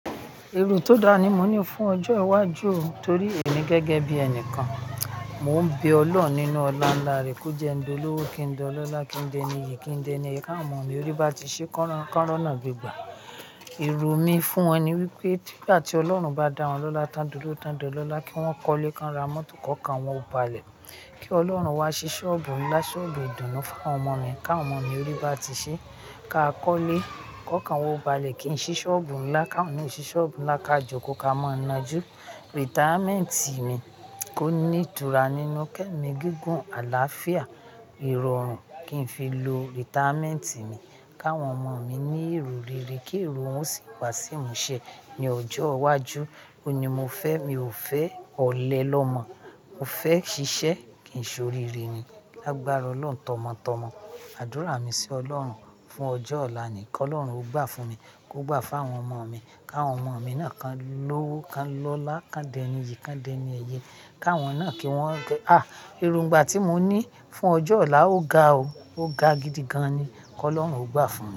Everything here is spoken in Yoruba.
Èrò tó da ni mo ní fún ọjọ́ iwájú torí èmi gẹ́gẹ́ bí ẹnìkan. Mo ń bẹ Olọ́run nínú ọlá ńlá rẹ kó jẹ́ń di olówó kí ń di ọlọ́lá, kí ń de ẹni iyì, kí ń de ẹni ká àwọn ọmọ mi orí bá ti ṣe kí wón ronáà gbegbà. Èrò mi fún wọn ni wípé nígbàtí Ọlọ́run bá dá wọn lọ́lá tán dolówó tán dolọ́lá kí wón kọ́lẹ́, kí wọn ra mọ́tò, kó kan wọn o balẹ̀. Kí Ọlọ́run wá ṣi ṣọ́ọ̀bù ńlá, ṣọ́ọ̀bù ìdùnnú fún àwọn ọmọ mi. Ká àwọn ọmọ mi orí bá ti ṣe, ká kọ́lẹ́, kó kan wa o balẹ̀, kí n ṣí ṣọ́ọ̀bù ńlá, ká àwọn náà o ṣí ṣọ́ọ̀bù ńlá káa jọkóo ká mọ́ nà jú. Retirement mi kó ní ìtura nínú kẹ́mi gígùn àlàáfíà, ìrọ̀rùn kí n fi lo retirement mi. Kí àwọn ọmọ mi ní ìròrere kí ìrò wọn o sì wàṣi imú ṣẹ ní ọjọ́ iwájú. Óuní mo fẹ́, mi ò fẹ́ ọ̀lẹ lọ́mọ. Mo fẹ́ ṣiṣẹ́ kìn ṣòríre ni. Lágbára Olọ́run tọmọ́tọmọ. Àdúrà mi sí Olọ́run fún ọjọ́ ọ̀la ni kí Ọlọ́run ó gbà fún mi, kó gbà fún àwọn ọmọ mi. Ká àwọn ọmọ mi náà kan lówó, kan lọlá, kan di ẹni iyì, kan di ẹni ẹyẹ. Ká àwọn náà kí wọ́n gẹ à! Èròngbà tí mo ní fún ọjọ́ ọ̀la ó ga o. Ó ga gidi gan ni. Kí Ọlọ́run ó gbà fún mi.